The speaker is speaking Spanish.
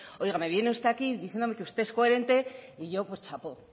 oiga me viene usted aquí diciéndome que usted es coherente y yo pues chapó